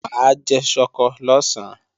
Mà á jẹ ṣọkọ lọ̀sán